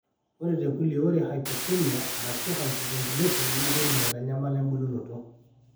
ore tekulie, ore hypoxemia arashuu hypoventilation naa keidim aitanyamala embulunoto .